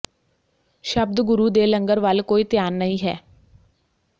ਸ਼ਬਦ ਗੁਰੂ ਦੇ ਲੰਗਰ ਵੱਲ ਕੋਈ ਧਿਆਨ ਨਹੀਂ ਹੈ